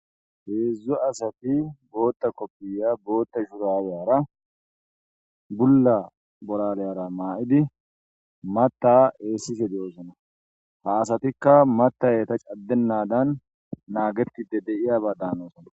Heedzdzu asati booththa koopiya booththa shurabiyara bulla bolaliyara ma7idi maththa eesishe de'oosona ha asatikka maththay eeta caddenaadan naagetidi de'iyaba daanoosona.